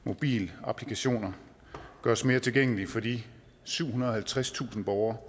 mobilapplikationer gøres mere tilgængelige for de syvhundrede og halvtredstusind borgere